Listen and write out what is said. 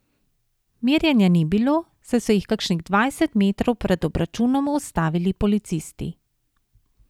Merjenja ni bilo, saj so jih kakšnih dvajset metrov pred obračunom ustavili policisti.